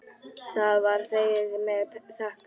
Það var þegið með þökkum.